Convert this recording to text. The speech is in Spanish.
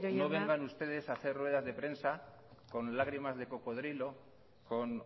no vengan ustedes a hacer ruedas de prensa con lágrimas de cocodrilo con